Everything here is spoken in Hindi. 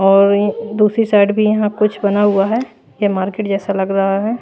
और ये दूसरी साइड भी यहां कुछ बना हुआ है ये मार्केट जैसा लग रहा है।